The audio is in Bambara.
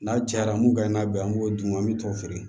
N'a cayara mun ka ɲi n'a bɛ an b'o d'u ma an bɛ t'o feere